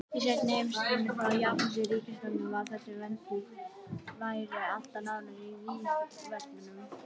Í seinni heimsstyrjöldinni sá japanska ríkisstjórnin til þess að vændiskonur væru alltaf nálægt vígvöllunum.